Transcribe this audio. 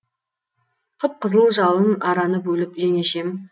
қып қызыл жалын араны бөліп жеңешем